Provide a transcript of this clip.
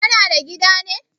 Kana da gida ne?